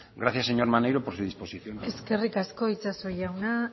gracias señor maneiro por su disposición eskerrik asko itxaso jauna